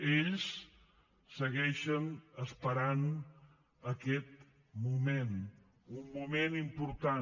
ells segueixen esperant aquest moment un moment important